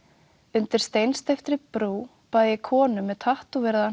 undir steinsteyptri brú bað ég konu með